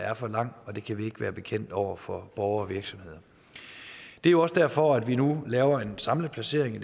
er for lang og det kan vi ikke være bekendt over for borgere og virksomheder det er også derfor vi nu laver en samlet placering